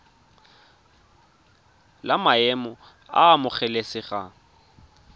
la maemo a a amogelesegang